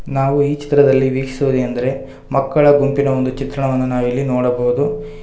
ನಾವು ಈ ಚಿತ್ರದಲ್ಲಿ ವೀಕ್ಷಿಸುವುದೇನೆಂದರೆ ಮಕ್ಕಳ ಗುಂಪಿನ ಒಂದು ಚಿತ್ರಣವನ್ನ ನಾವಿಲ್ಲಿ ನೋಡಬಹುದು.